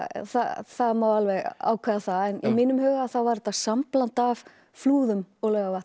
það það má alveg ákveða það í mínum huga var þetta sambland af Flúðum og Laugarvatni